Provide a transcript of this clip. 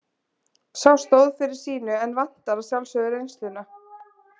Sá stóð fyrir sínu en vantar að sjálfsögðu reynsluna.